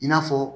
I n'a fɔ